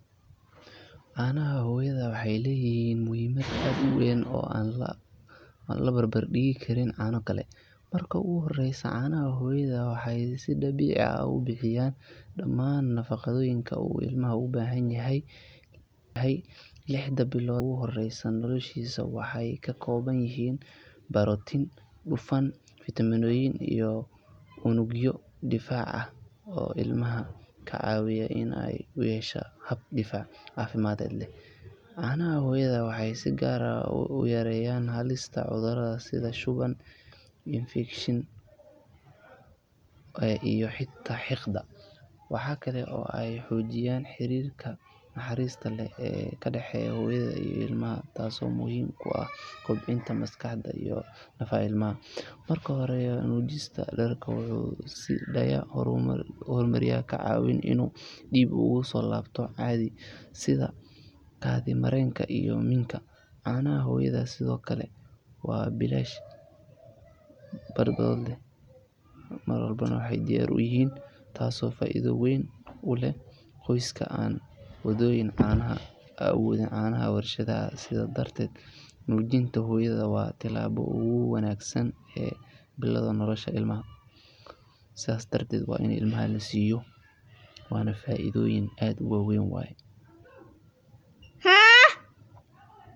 Caanaha hooyada waxay leeyihiin muhiimad aad u weyn oo aan la barbar dhigi karin caano kale. Marka ugu horreysa, caanaha hooyada waxay si dabiici ah u buuxiyaan dhammaan nafaqooyinka uu ilmaha u baahan yahay lixda bilood ee ugu horreysa noloshiisa. Waxay ka kooban yihiin borotiin, dufan, fiitamiino iyo unugyo difaac ah oo ilmaha ka caawiya in uu yeesho hab difaac caafimaad leh. Caanaha hooyada waxay si gaar ah u yareeyaan halista cudurrada sida shuban, infekshan, oof-wareen iyo xitaa xiiqda. Waxa kale oo ay xoojiyaan xiriirka naxariista leh ee ka dhexeeya hooyada iyo ilmaha, taasoo muhiim u ah koboca maskaxda iyo nafta ilmaha. Marka hooyadu nuujiso, jirkeedu wuxuu sii daayaa hormoonnada ka caawiya inuu dib ugu soo laabto caadi, sida kaadi mareenka iyo minka. Caanaha hooyada sidoo kale waa bilaash, badbaado leh, mar walbana diyaar ah, taasoo faa’iido weyn u leh qoysaska aan awoodin caanaha la warshadeeyay. Sidaas darteed, nuujinta hooyadu waa tallaabada ugu wanaagsan ee lagu bilaabo nolosha ilmaha.